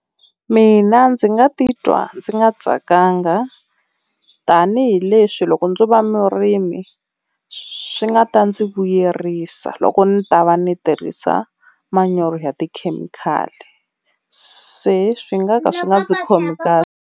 Mina ndzi nga titwa ndzi nga tsakanga tanihileswi loko ndzo va murimi swi nga ta ndzi vuyerisa, loko ni ta va ni tirhisa manyoro ya tikhemikhali. Se swi nga ka swi nga ndzi khomi kahle.